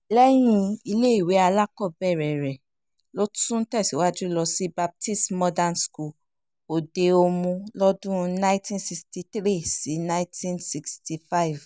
lẹ́yìn ìwé alákọ̀ọ́bẹ̀rẹ̀ rẹ̀ ló tún tẹ̀síwájú lọ sí baptist modern school òde-omu lọ́dún 1963 sí 1965